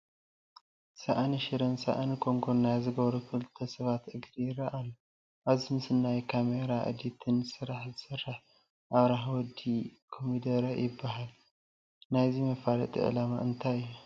ሳእኒ ሽረን ሳእኒ ኮንጐን ናይ ዝገበሩ ክልተ ሰባት እግሪ ይርአ ኣሎ፡፡ ኣብዚ ምስሊ ናይ ካሜራን ኤዲትን ስራሕ ዝሰርሐ ኣብርሃ ወዲ ኮሚደረ ይበሃል፡፡ ናይዚ መፋለጢ ዕላማ እንታይ እዩ?